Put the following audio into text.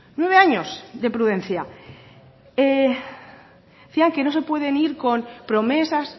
nueve años de prudencia decía que no se puede ir con promesas